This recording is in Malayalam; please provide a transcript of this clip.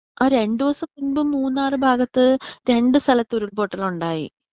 ആ രണ്ടൂസം മുമ്പ് മൂന്നാർ ഭാഗത്ത് രണ്ട് സ്ഥലത്ത് ഉരുൾ പൊട്ടലുണ്ടായി.